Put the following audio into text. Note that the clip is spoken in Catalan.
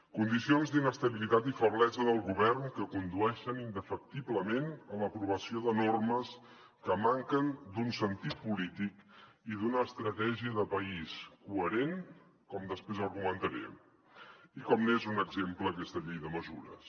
condicions d’inestabilitat i feblesa del govern que condueixen indefectiblement a l’aprovació de normes que manquen d’un sentit polític i d’una estratègia de país coherent com després argumentaré i com n’és un exemple aquesta llei de mesures